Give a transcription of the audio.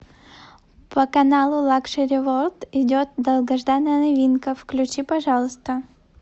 по каналу лакшери ворлд идет долгожданная новинка включи пожалуйста